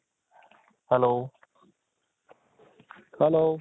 hello, hello